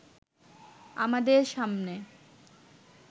আমাদের সামনে